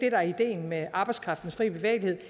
er ideen med arbejdskraftens frie bevægelighed